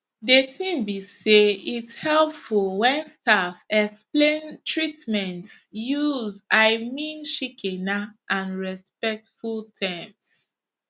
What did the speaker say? de tin be say its helpful wen staff explain treatments use i mean shikena and respectful terms